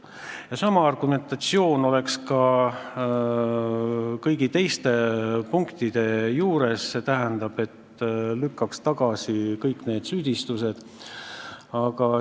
Ja sama argumentatsioon oleks ka kõigi teiste punktide puhul, st ma lükkan kõik need süüdistused tagasi.